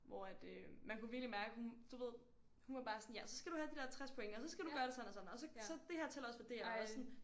Hvor at øh man kunne virkelig mærke hun du ved hun var bare sådan ja så skal du have de her 60 point og så skal du gøre sådan og sådan og så det her tæller også for det her og sådan